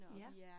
Ja